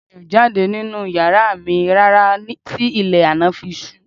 Mi ò jáde nínú yàrá mi rárá tí ilẹ̀ àná fi ṣú